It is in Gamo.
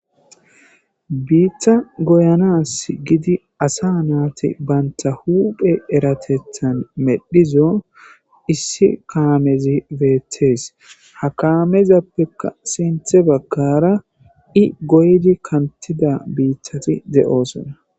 biitta goyanas gidi asa naati banta huphe eratethan medhizo issi kaamezi beetees ha kaamezappeka sinthe bakkara i goydi kantida biittati de7osona